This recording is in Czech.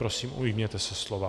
Prosím, ujměte se slova.